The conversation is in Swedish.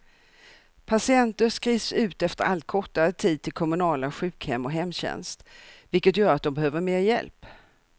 Patienter skrivs ut efter allt kortare tid till kommunala sjukhem och hemtjänst, vilket gör att de behöver mer hjälp.